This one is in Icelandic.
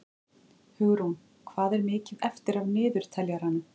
Hugrún, hvað er mikið eftir af niðurteljaranum?